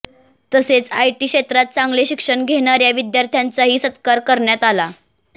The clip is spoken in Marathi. तसेच आयटी क्षेत्रात चांगले शिक्षण घेणाऱया विद्यार्थ्यांचाही सत्कार करण्यात आला